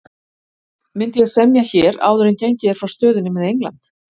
Myndi ég semja hér áður en gengið er frá stöðunni með England?